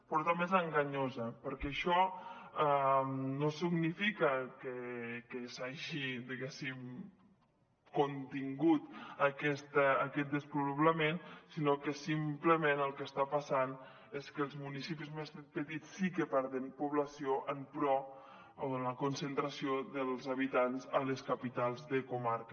però també és enganyosa perquè això no significa que s’hagi diguéssim contingut aquest despoblament sinó que simplement el que està passant és que els municipis més petits sí que perden població en pro de la concentració dels habitants a les capitals de comarca